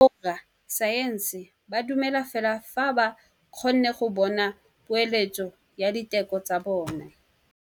Borra saense ba dumela fela fa ba kgonne go bona poeletsô ya diteko tsa bone.